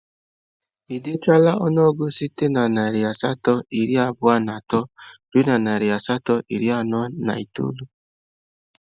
Ị dechala ọnụọgụgụ site na narị asatọ iri abụọ na atọ ruo narị asatọ na iri anọ na itoolu?